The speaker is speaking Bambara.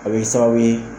A bɛ kɛ sababu ye